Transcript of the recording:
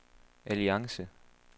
alliance